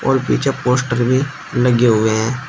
और पीछे पोस्टर भी लगे हुए हैं।